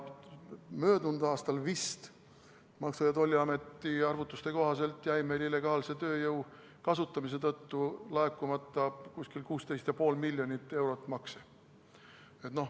Möödunud aastal jäi Maksu- ja Tolliameti arvutuste kohaselt meil illegaalse tööjõu kasutamise tõttu laekumata umbes 16,5 miljonit eurot makse.